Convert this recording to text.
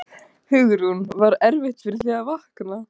Hugrún: Var erfitt fyrir þig að vakna?